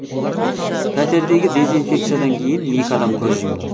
пәтердегі дезинфекциядан кейін екі адам көз жұмды